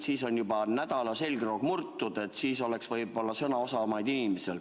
Siis on juba nädala selgroog murtud ja võib-olla inimesed on sõnaosavamad.